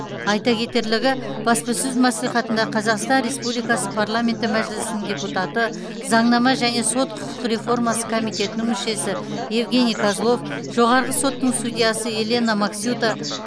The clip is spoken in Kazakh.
айта кетерлігі баспасөз мәслихатында қазақстан республикасы парламенті мәжілісінің депутаты заңнама және сот құқық реформасы комитетінің мүшесі евгений козлов жоғарғы соттың судьясы елена максюта